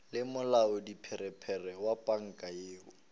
le molaodipharephare wa panka yoo